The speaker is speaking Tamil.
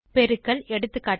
பெருக்கல் எகா